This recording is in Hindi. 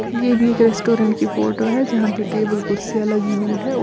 ये भी एक रेस्टोरेंट की फोटो है जहां पे टेबल कुर्सियां लगी हुई है।